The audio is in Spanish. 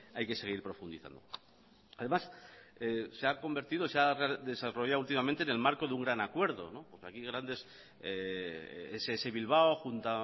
hay que seguir profundizando además se ha convertido se ha desarrollado en el marco de un gran acuerdo porque aquí grandes ess bilbao junto